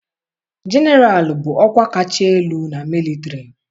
Jeneralụ bụ ọkwa kacha elu na mịlịtarị.